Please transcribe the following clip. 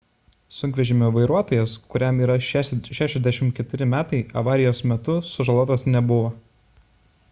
sunkvežimio vairuotojas kuriam yra 64 metai avarijos metu sužalotas nebuvo